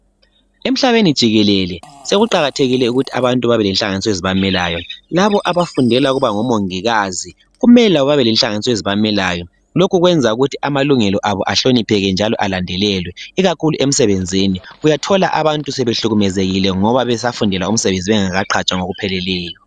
Emhlabeni jikelele sekuqakathekile ukuthi abantu babelenhlanganiso ezibamelayo labo abafundela ukuba ngomongikazi kumele bebelenhlanganiso ezibamelayo lokhu kwenza ukuthi amalungelo abo ahlonipheke njalo alandelelwe ikakhulu emsebenzini uyathola abantu behlukumezekile ngoba besafundela umsebenzi bengakaqhatshwa ngokupheleleyo.